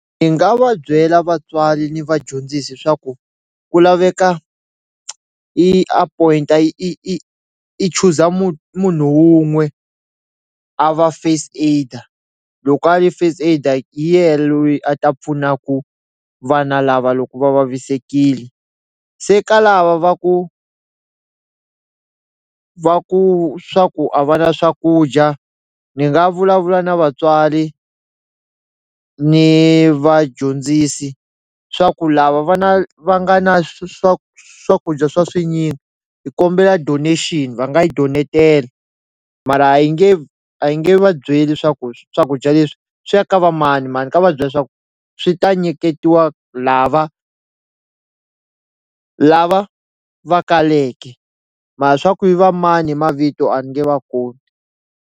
Ni nga va byela vatswari ni vadyondzisi swa ku ku laveka i a point-a i i i chuza munhu wun'we a va first aid-a loko a ri first aid-a hi yehe loyi a ta pfuna ku vana lava loko va vavisekile se ka lava va ku va ku swa ku a va na swakudya ni nga vulavula na vatswali ni vadyondzisi swa ku lava vana va nga na swa swakudya swa swinyingi hi kombela donation va nga yi donetela mara a hi nge a hi nge vabyeli swaku swakudya leswi swi ya ka va mani mani ka va byela swaku swi ta nyiketiwa lava lava va kaleke mara swa ku i va mani mavito a ni nge va kombi.